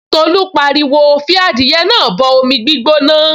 Tolú pariwo, 'fi adìẹ náà bọ omi gbóná